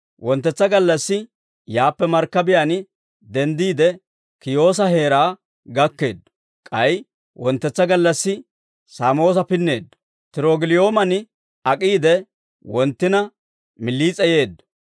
Wonttetsa gallassi yaappe markkabiyaan denddiide, Kiyoosa heeraa gakkeeddo; k'ay wonttetsa gallassi Saamoosa pinneeddo; Tirogiliyoomen ak'iide, wonttina Miliis'e yeeddo.